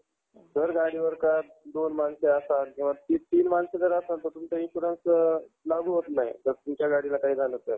आपली degree अशी degree झाल्यावर एक वर्ष देतात ते. job साठी job लागल्यावर आपण भरू शकतो.